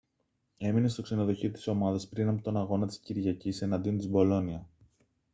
έμενε στο ξενοδοχείο της ομάδας πριν από τον αγώνα της κυριακής εναντίον της μπολόνια